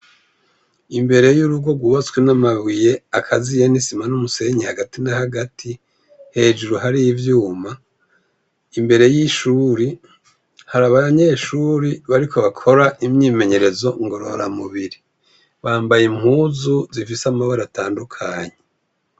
Imbere yurugo rwubatswe namabuye akaziye nisima numusenyi hagati n'ahagati hejuru hari ivyuma. Imbere yishure, hari abanyeshure bariko bakora imyimenyerezo ngorora mubiri, bambaye impuzu zifise amabara atandukanye.